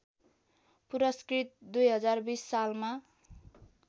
पुरस्कृत २०२० सालमा